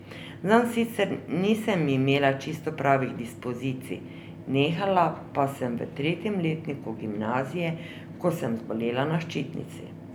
Zanj sicer nisem imela čisto pravih dispozicij, nehala pa sem v tretjem letniku gimnazije, ko sem zbolela na ščitnici.